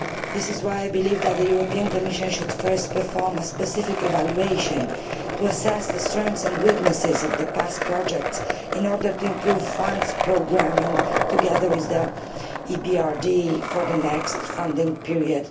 This is why I believe that the European Commission should first perform a specific evaluation to assess the strengths and weaknesses of past projects in order to improve funds programming together with the EBRD for the next funding period